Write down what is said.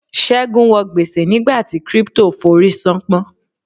Ségun wo gbèsè nígbà tí crypto forí sàn pọ́n.